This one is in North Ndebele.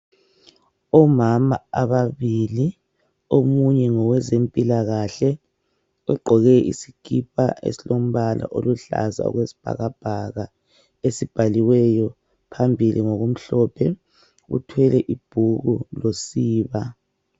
Omama babili omunye ngowezempilakahle ugqoke isikipa esilombala oluhlaza okwesibhakabhaka esibhaliweyo phambili ngokumhlophe uthwele ibhuku losiba.